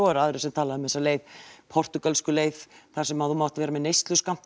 en aðrir tala um portúgölsku leiðina þar sem þú mátt vera með neysluskammta